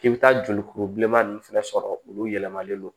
K'i bɛ taa jolikuru bilenman ninnu fɛnɛ sɔrɔ olu yɛlɛmalen don